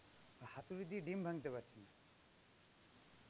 হাতুড়ি দিয়ে দিম ভাঙ্গতে পারছে না.